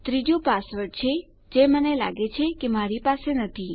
ત્રીજુ પાસવર્ડ છે જે મને લાગે છે કે મારી પાસે નથી